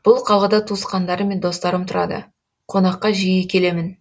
бұл қалада туысқандарым мен достарым тұрады қонаққа жиі келемін